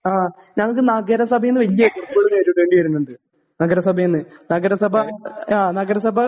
ഞങ്ങൾക്ക് നഗരസഭയിൽ നിന്ന് നഗരസഭയിൽ നിന്ന് നഗരസഭാ